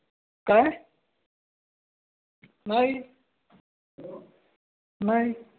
काय? नाही नाही.